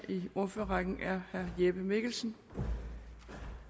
i ordførerrækken er herre jeppe mikkelsen